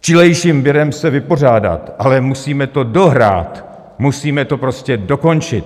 čilejším virem se vypořádat, ale musíme to dohrát, musíme to prostě dokončit.